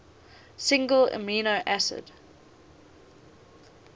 single amino acid